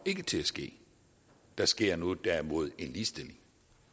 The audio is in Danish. til at ske der sker derimod en ligestilling